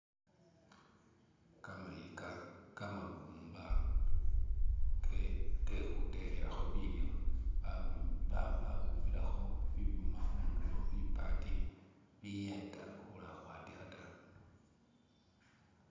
Kamayika kamabumba ke khutekhelakho bilyo babumbilakho bibyuma khundulo, bipati biyeta khula khwatikha ta.